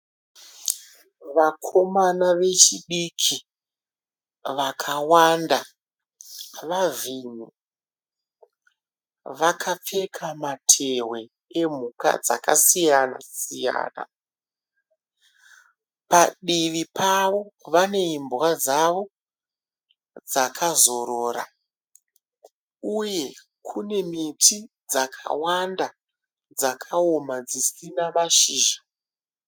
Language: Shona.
Vakomana vechidiki vakawanda. Vavhimi vakapfeka matehwe emhuka dzakasiyana siyana. Padivi pavo vane imbwa dzavo dzakazorora uye kune miti dzakawanda dzakawoma dzisina mashizha.